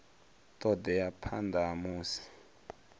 ṱo ḓea phanḓa ha musi